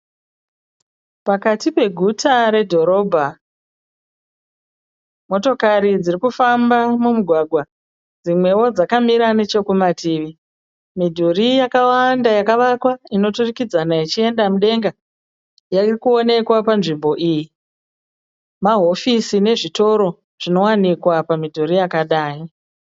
Pakati peguta redhorobha motokari dzirikufamba mumugwagwa dzimwewo dzakamira nechekumativi. midhuri yakawanda yakavakwa inoturikidzana ichienda mudenga irikuonekwa panzvimbo iyi, mahofisi nezvitoro zvinowanikwa pamidhuri yakadai